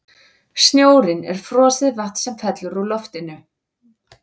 Snjórinn er frosið vatn sem fellur úr loftinu.